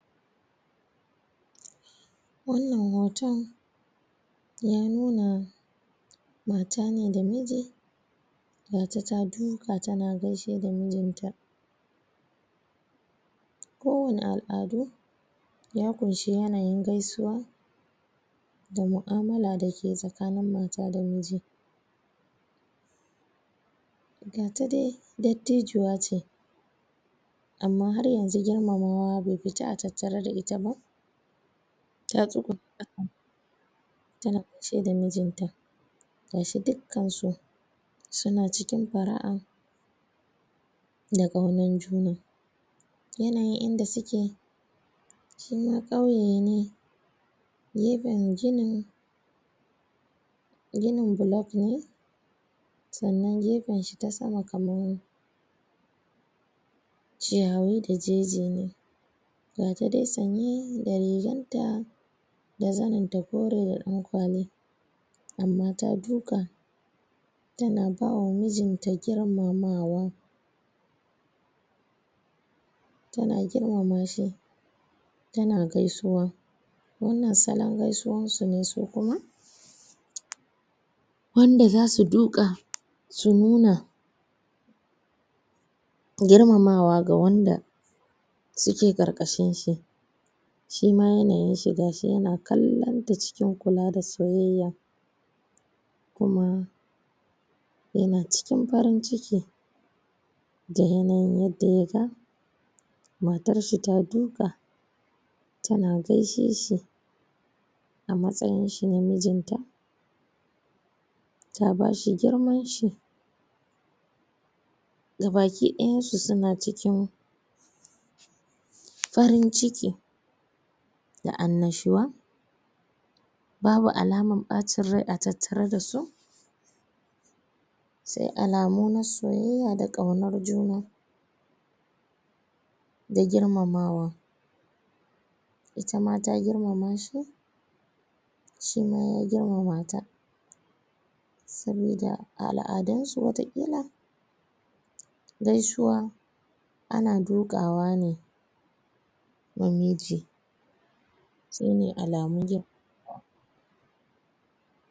wannan hoton ya nuna mata ne da miji mata ta duka tana gaishe da miji ta ko wani al'adu ya koyi yanayin gaisuwa da mu'amala dake tsakanin mata da miji ga ta dai dattijuwa ce amma girmamawa bai fita a tattare da ita ba ta tsugunna kasa tana gaishe da mijin ta gashi dukkansu suna cikin fara'a da kaunan juna yanayin inda suke shima kauye ne gefen ginin ginin block ne sannan gefen shi ta sama kaman chiyawi da jeje ne gata dai sanye da rigan ta da zanin ta kore da danƙwali amma ta duka tana bawa mijin ta girmamawa tana girmama shi tana gaisuwa wannan salon gaisuwan su ne su kuma wanda zasu duka su nuna girmamawa ga wanda suke ƙarkashin shi shima yanayin shi gashi yana kallan ta cikin kula da soyayya kuma yana cikin farin ciki da yanayin yadda ya ga matarshi ta duka tana gaishe shi a matsayin shi na mijin ta ta bashi girman shi ga baki dayan su suna cikin farin ciki da an'nashuwa babu alamar ɓacin rai a tattare da su sai alamu na soyayya da kaunar juna da girmamawa itama da girmamashi shima ya girmama ta sabida a al'adun su wata ƙila gaisuwa ana dukawa ne wa miji shine alamun girmamawa